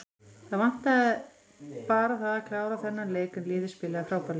Það vantaði bara það að klára þennan leik en liðið spilaði frábærlega.